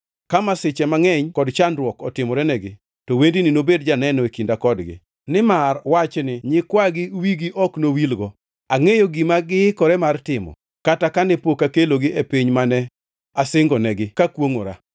Ka masiche mangʼeny kod chandruok otimorenegi, to wendni nobed janeno e kinda kodgi, nimar wachni nyikwagi wigi ok nowilgo. Angʼeyo gima giikore mar timo, kata kane pok akelogi e piny mane asingonegi kakwongʼora.”